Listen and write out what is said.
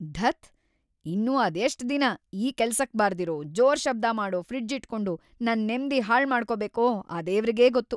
ಧತ್! ಇನ್ನೂ ಅದೆಷ್ಟ್‌ ದಿನ ಈ ಕೆಲ್ಸಕ್‌ ಬಾರ್ದಿರೋ, ಜೋರ್‌ ಶಬ್ದ ಮಾಡೋ ಫ್ರಿಡ್ಜ್‌ ಇಟ್ಕೊಂಡು ನನ್‌ ನೆಮ್ದಿ ಹಾಳ್ಮಾಡ್ಕೋಬೇಕೋ ಆ ದೇವ್ರಿಗೇ ಗೊತ್ತು!